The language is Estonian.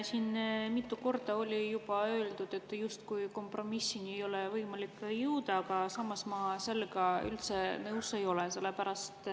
Siin on mitu korda juba öeldud, justkui kompromissile ei oleks võimalik jõuda, aga samas ma sellega üldse nõus ei ole.